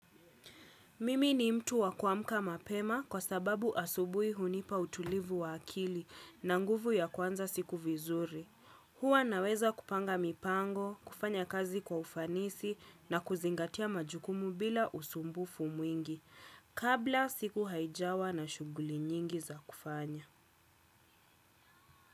Mimi ni mtu wa kuamka mapema kwa sababu asubuhi hunipa utulivu wa akili na nguvu ya kuanza siku vizuri. Hua naweza kupanga mipango, kufanya kazi kwa ufanisi na kuzingatia majukumu bila usumbufu mwingi kabla siku haijawa na shughuli nyingi za kufanya.